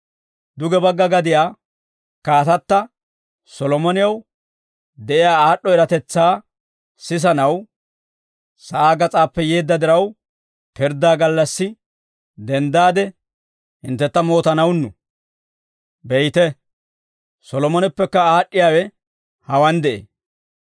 Duge bagga gadiyaa kaatatta Solomonew de'iyaa aad'd'o eratetsaa sisanaw sa'aa gas'aappe yeedda diraw, pirddaa gallassi denddaade, hinttentta mootanawunnu; beyte, Solomoneppekka aad'd'iyaawe hawaan de'ee.